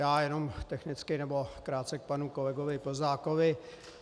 Já jenom technicky nebo krátce k panu kolegovi Plzákovi.